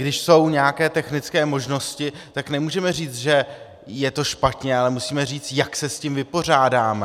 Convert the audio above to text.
Když jsou nějaké technické možnosti, tak nemůžeme říct, že je to špatně, ale musíme říct, jak se s tím vypořádáme.